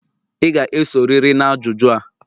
Ị ga-esorịrị na ajụjụ a.